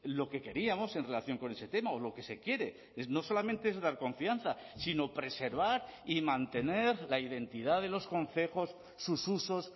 lo que queríamos en relación con ese tema o lo que se quiere no solamente es dar confianza sino preservar y mantener la identidad de los concejos sus usos